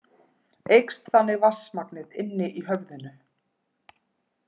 Eykst þannig vatnsmagnið inni í höfðinu.